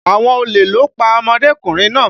Àwọn olè ló pa ọmọdékùnrin náà.